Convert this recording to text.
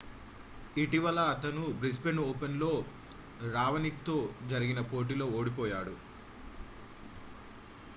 ఇటీవల అతను Brisbane Open లో రావోనిక్ తో జరిగిన పోటీలో ఓడిపోయాడు